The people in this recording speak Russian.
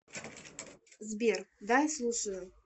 сбер да я слушаю